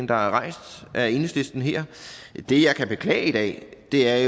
der er rejst af enhedslisten her det jeg kan beklage i dag er